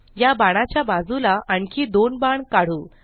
या बाणाच्या बाजूला आणखी दोन बाण काढू